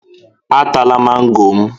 Atala mango m!